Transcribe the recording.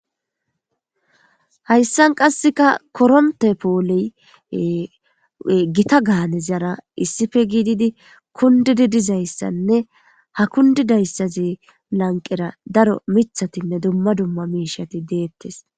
Hayssan qasseka koronte poole gita gaanezyara issippe giididi kundidi dizayssanne ha kundidayssazi lanqera daro mithatinne dumma dumma miishati deettes.